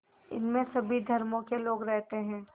इसमें सभी धर्मों के लोग रहते हैं